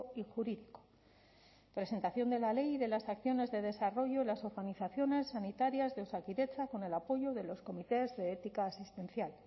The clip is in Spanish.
y jurídico presentación de la ley y de las acciones de desarrollo y las organizaciones sanitarias de osakidetza con el apoyo de los comités de ética asistencial